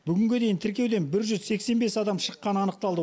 бүгінге дейін тіркеуден бір жүз сексен бес адам шыққаны анықталды